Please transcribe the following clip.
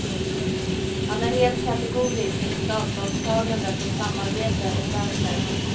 Han är helt kategorisk i sitt avståndstagande från samarbete åt vänster.